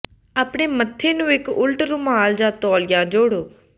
ਆਪਣੇ ਮੱਥੇ ਨੂੰ ਇੱਕ ਉਲਟ ਰੁਮਾਲ ਜਾਂ ਤੌਲੀਆ ਜੋੜੋ